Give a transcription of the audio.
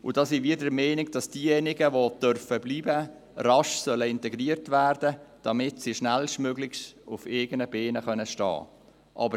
Da sind wir der Meinung, dass diejenigen die bleiben dürfen, rasch integriert werden sollen, damit sie schnellstmöglich auf eigenen Beinen stehen können.